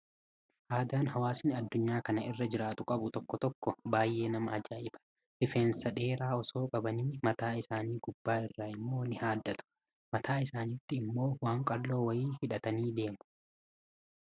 Aadaan hawaasni addunyaa kana irra jiraatu qabu tokko tokko baay'ee nama ajaa'iba. Rifeensa dheeraa osoo qabanii, mataa isaanii gubbaa irraa immoo ni haaddatu. Mataa isaaniitti immoo waan qalloo wayii hidhatanii deemu.